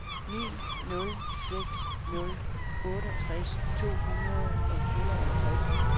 ni nul seks nul otteogtres to hundrede og fireoghalvtreds